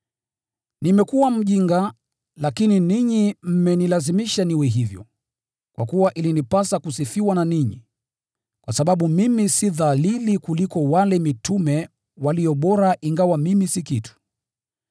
Nimekuwa mjinga, lakini ninyi mmenilazimisha niwe hivyo. Kwa kuwa ilinipasa kusifiwa na ninyi, kwa sababu mimi si dhalili kuliko wale “mitume walio bora,” ingawa mimi si kitu.